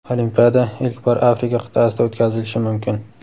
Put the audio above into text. Olimpiada ilk bor Afrika qit’asida o‘tkazilishi mumkin.